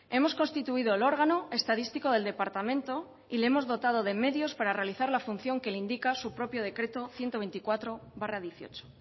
hemos constituido el órgano estadístico del departamento y le hemos dotado de medios para realizar la función que le indica su propio decreto ciento veinticuatro barra dieciocho